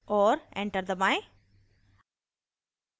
और enter दबाएं